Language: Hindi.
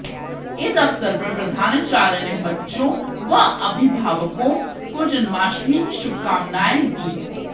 इस अवसर पर प्रधानाचार्य ने बच्चों व अभिभावकों को जन्माष्टमी की शुभकामनाएं दी